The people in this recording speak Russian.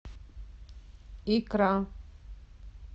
икра